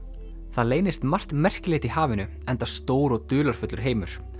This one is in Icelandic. það leynist margt merkilegt í hafinu enda stór og dularfullur heimur